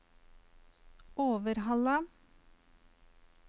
Overhalla